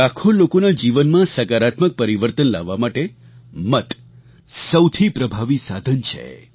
લાખો લોકોના જીવનમાં સકારાત્મક પરિવર્તન લાવવા માટે મત સૌથી પ્રભાવી સાધન છે